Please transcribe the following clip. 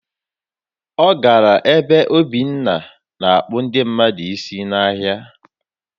Ọ gara ebe Obinna na-akpụ ndị mmadụ isi n'ahịa